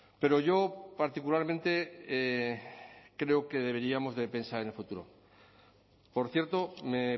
pero yo particularmente creo que deberíamos de pensar en el futuro por cierto me